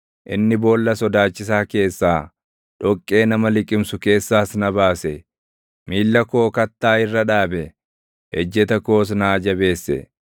Inni boolla sodaachisaa keessaa, dhoqqee nama liqimsu keessaas na baase; miilla koo kattaa irra dhaabe; ejjeta koos naa jabeesse.